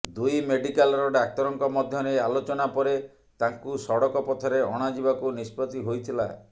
ଦୁଇ ମେଡିକାଲର ଡାକ୍ତରଙ୍କ ମଧ୍ୟରେ ଆଲୋଚନା ପରେ ତାଙ୍କୁ ସଡ଼କ ପଥରେ ଅଣାଯିବାକୁ ନିଷ୍ପତ୍ତି ହୋଇଥିଲା